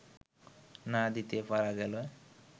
না দিতে পারা গেলে